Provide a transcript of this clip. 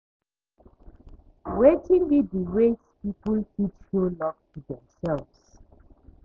Wetin be di ways people fit show love to demselves?